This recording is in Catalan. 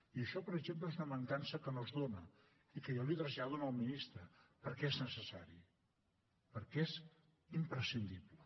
i això per exemple és una mancança que no es dóna i que jo li trasllado al ministre perquè és necessari perquè és imprescindible